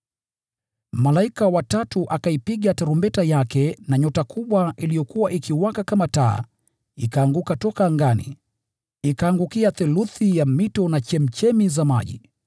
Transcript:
Malaika wa tatu akaipiga tarumbeta yake, na nyota kubwa iliyokuwa ikiwaka kama taa ikaanguka toka angani, ikaangukia theluthi ya mito na chemchemi za maji.